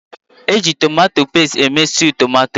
Eji tomato pestie eme stewwu tomato.